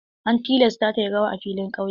An tilasta ta yi rawa a filin ƙauye.